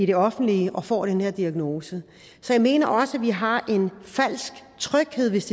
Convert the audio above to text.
det offentlige og får den her diagnose så jeg mener også vi har en falsk tryghed hvis